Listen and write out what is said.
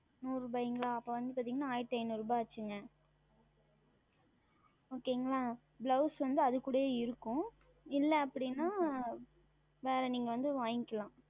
நூறு ரூபாய அப்பொழுது வந்து பார்த்தீர்கள் என்றால் ஆயிரத்து ஐந்நூறு ஆனது Okay ங்களா Blouse வந்து அதனுடனே இருக்கும் இல்லை அப்படி என்றால் வேறு நீங்கள் வந்து வாங்கி கொள்ளலாம்